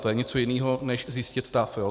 To je něco jiného než zjistit stav.